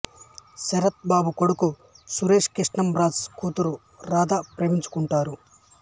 శరత్ బాబు కోడుకు సురేష్ కృష్ణంరాజు కూతురు రాధ ప్రేమించుకుంటారు